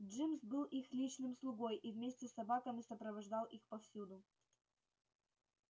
джимс был их личным слугой и вместе с собаками сопровождал их повсюду